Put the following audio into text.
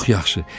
Çox yaxşı.